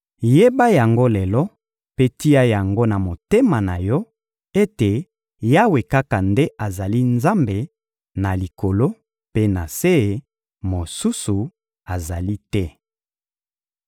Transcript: Yeba yango lelo mpe tia yango na motema na yo ete Yawe kaka nde azali Nzambe na likolo mpe na se, mosusu azali te.